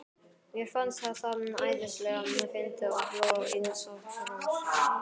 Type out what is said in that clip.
Mér fannst það æðislega fyndið og hló eins og hross.